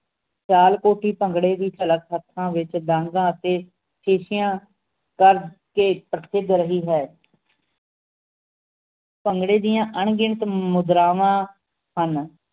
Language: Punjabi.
ਸਿਆਲਕੋਟੀ ਭੰਗੜੇ ਦੀ ਵਿਚ ਡਾਂਗਾਂ ਅਤੇ ਖੇਸੀਆਂ ਵੱਧ ਕੇ ਪ੍ਰਸਿੱਧ ਰਹੀ ਹੈ ਭੰਗੜੇ ਦੀਆਂ ਅਣਗਿਣਤ ਮੁਦਰਾਵਾਂ ਹਨ